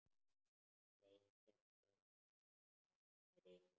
Sleikja af henni rykið.